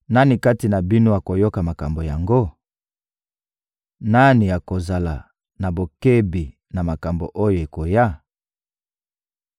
Nani kati na bino akoyoka makambo yango? Nani akozala na bokebi na makambo oyo ekoya?